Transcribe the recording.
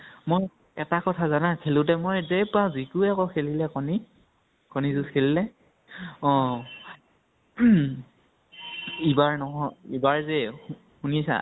মই এটা কথা জানা ? খেলোতে মই যে যিয়ে পাওঁ, ভৄগু ৱে আকৌ খেলিলে কণী, কণী যুঁজ খেলিলে, অ, ইবাৰ নহয়, ইবাৰ যে, শুনিছা ?